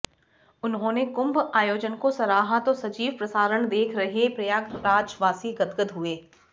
उन्होंने कुंभ आयोजन को सराहा तो सजीव प्रसारण देख रहे प्रयागराजवासी गदगद हुए